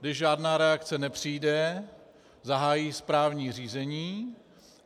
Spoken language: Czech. Když žádná reakce nepřijde, zahájí správní řízení.